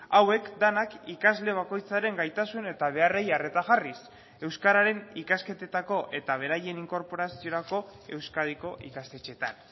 hauek denak ikasle bakoitzaren gaitasun eta beharrei arreta jarriz euskararen ikasketetako eta beraien inkorporaziorako euskadiko ikastetxetan